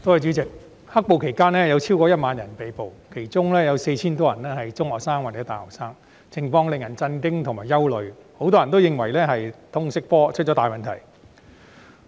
代理主席，在"黑暴"期間有超過1萬人被捕，當中 4,000 多人是中學生或大學生，情況令人震驚和憂慮，很多人認為原因是通識科出了大問題。